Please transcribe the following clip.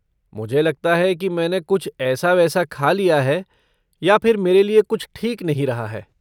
मुझे लगता है कि मैंने कुछ ऐसा वैसा खा लिया है या फिर मेरे लिए कुछ ठीक नहीं रहा है।